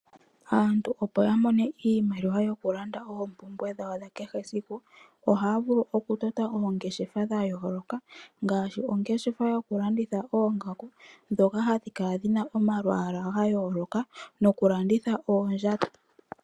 Aantu opo ya mone iimaliwa yokulanda oompumbwe dhawo dha kehe esiku, ohaya vulu okutota oongeshefa dhayoloka ngashi ongeshefa yoku landitha oongaku ndhoka hadhi kala dhina omalwala gayooloka nokulanditha oondjato.